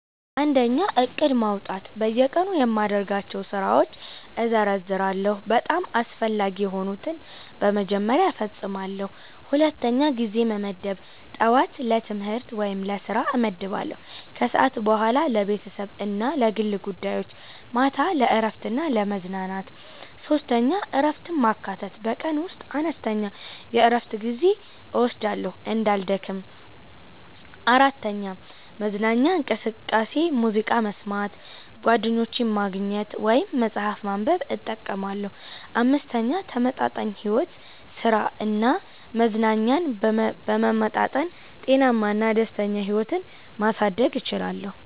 1. ዕቅድ ማውጣት በየቀኑ የማደርጋቸውን ስራዎች እዘርዝራለሁ፤ በጣም አስፈላጊ የሆኑትን በመጀመሪያ እፈጽማለሁ። 2. ጊዜ መመደብ ጠዋት ለትምህርት/ስራ እመድባለሁ ከሰዓት በኋላ ለቤተሰብ እና ለግል ጉዳዮች ማታ ለእረፍት እና ለመዝናኛ 3. እረፍትን ማካተት በቀን ውስጥ አነስተኛ የእረፍት ጊዜ እወስዳለሁ እንዳልደክም። 4. መዝናኛ እንቅስቃሴ ሙዚቃ መስማት፣ ጓደኞችን ማግኘት ወይም መጽሐፍ ማንበብ እጠቀማለሁ። 5. ተመጣጣኝ ሕይወት ሥራ እና መዝናኛን በመመጣጠን ጤናማ እና ደስተኛ ሕይወት ማሳደግ እችላለሁ።